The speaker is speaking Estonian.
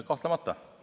Kahtlemata.